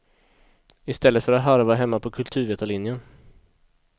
I stället för att harva hemma på kulturvetarlinjen.